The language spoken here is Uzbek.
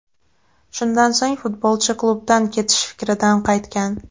Shundan so‘ng futbolchi klubdan ketish fikridan qaytgan.